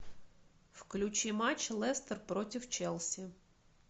включи матч лестер против челси